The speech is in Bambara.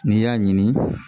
N'i y'a ɲini